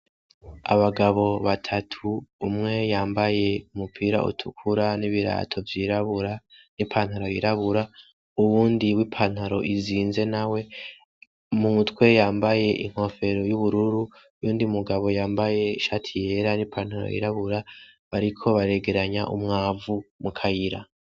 Abagabo batatu umwe yambaye umupira utukura n'ibirato vy'irabura n'ipantaro y'irabura, uwundi w'ipantaro izinze nawe mu mutwe yambaye inkofero y'ubururu uyundi mugabo yambaye ishati yera n'ipantaro y'irabura bariko baregeranya umwavu mu kayira.